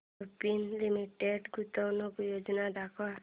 Lupin limited गुंतवणूक योजना दाखव